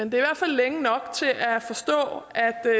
i hvert fald længe nok til at forstå